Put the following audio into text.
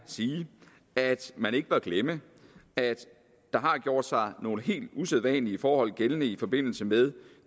sige at man ikke bør glemme at der har gjort sig nogle helt usædvanlige forhold gældende i forbindelse med